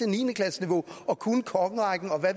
niende klasseniveau og kunne kongerækken og hvad